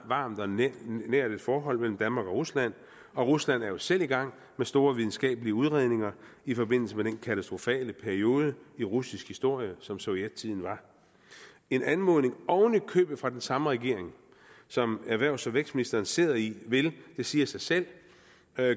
varmt og nært forhold mellem danmark og rusland og rusland er jo selv i gang med store videnskabelige udredninger i forbindelse med den katastrofale periode i russisk historie som sovjettiden var en anmodning oven i købet fra den samme regering som erhvervs og vækstministeren sidder i vil det siger sig selv